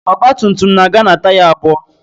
Ọgba tum tum na-aga na taya abụọ